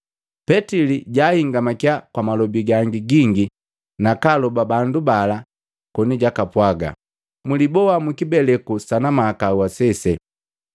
Petili jahingamakia kwa malobi gangi gingi nakaaloba bandu bala koni jupwaaga, “Muliboa mukibeleku sana mahakau asese.”